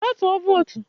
Gaa tụọ vootu!